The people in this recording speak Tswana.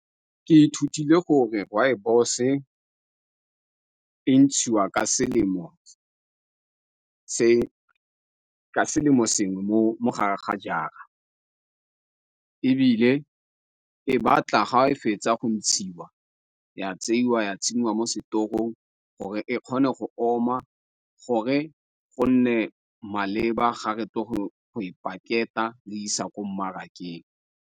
Ke ithutile gore rooibos e ntshiwa ka selemo sengwe mo mo gare ga jara ebile e batla ga e fetsa go ntshiwa ya tseiwa ya tsenngwa mo setorong gore e kgone go oma gore go nne maleba ga re tlo go e packet-a re e isa ko mmarakeng.